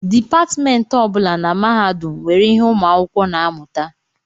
Depatmentị ọ bụla na mahadum nwere ihe ụmụ akwụkwọ na-amụta